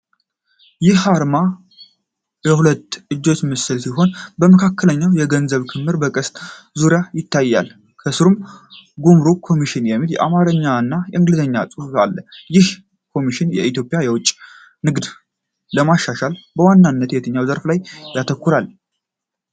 ይህ አርማ የሁለት እጆች ምስል ሲሆን፣ በመካከል የገንዘብ ክምር በቀስት ዙሪያውን ይታያል። ከስርም "ጉምሩክ ኮሚሽን" የሚል የአማርኛና የእንግሊዝኛ ጽሑፍ አለ። ይህ ኮሚሽን የኢትዮጵያን የውጭ ንግድ ለማሻሻል በዋናነት በየትኛው ዘርፍ ላይ ያተኩራል?